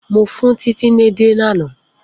Mo fun Titi édè lana.